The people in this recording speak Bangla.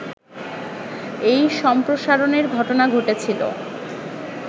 এই সম্প্রসারণের ঘটনা ঘটেছিলো